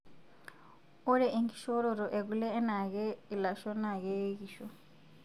Ore enkishoroto ekule enaake ilasho naa keekisho.